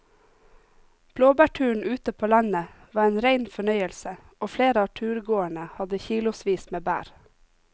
Blåbærturen ute på landet var en rein fornøyelse og flere av turgåerene hadde kilosvis med bær.